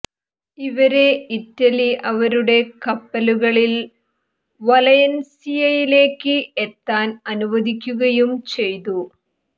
ഇവരെ ഇറ്റലി അവരുട കപ്പലുകളിൽ വലൻസിയയിലേക്ക് എത്താൻ അനുവദിക്കുകയും ചെയ്തു